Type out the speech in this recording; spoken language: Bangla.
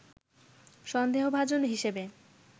সন্দেহভাজন হিসেবে